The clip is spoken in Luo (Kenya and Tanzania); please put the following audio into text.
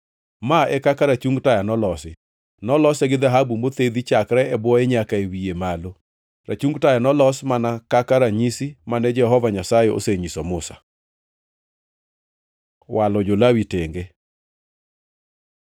Ma e kaka rachung taya nolosi: Nolose gi dhahabu mothedhi chakre e bwoye nyaka wiye malo. Rachung taya nolosi mana kaka ranyisi mane Jehova Nyasaye osenyiso Musa. Walo jo-Lawi tenge